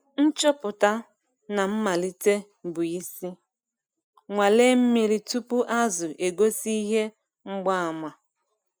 Nchọpụta na mmalite bụ isi - nnwale mmiri tupu azụ egosi ihe mgbaàmà.